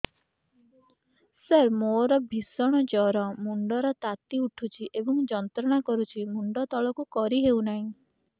ସାର ମୋର ଭୀଷଣ ଜ୍ଵର ମୁଣ୍ଡ ର ତାତି ଉଠୁଛି ଏବଂ ଯନ୍ତ୍ରଣା କରୁଛି ମୁଣ୍ଡ ତଳକୁ କରି ହେଉନାହିଁ